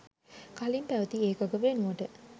කලින් පැවති ඒකක වෙනුවට